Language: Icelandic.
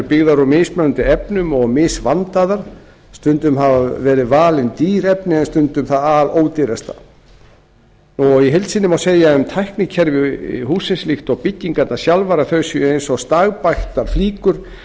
byggðar úr mismunandi efnum og misvandaðar stundum hafa verið valin dýr efni en stundum það alódýrasta í heild sinni má segja um tæknikerfi hússins líkt og byggingarnar sjálfar að þær séu eins og stagbættar flíkur